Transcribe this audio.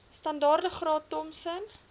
standaard graad thompson